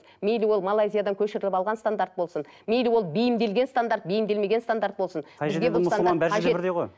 мейлі ол малайзиядан көшіріліп алған стандарт болсын мейлі ол бейімделген стандарт бейімделмеген стандарт болсын